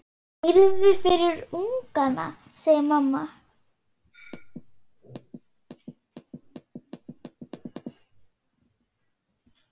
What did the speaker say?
Hreiður fyrir ungana, segir mamma.